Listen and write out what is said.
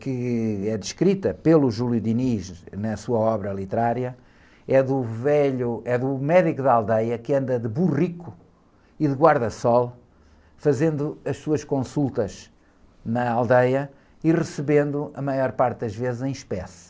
que é descrita pelo Júlio Diniz na sua obra literária, é do velho, é do médico da aldeia que anda de burrico e de guarda-sol, fazendo as suas consultas na aldeia e recebendo, a maior parte das vezes, em espécie.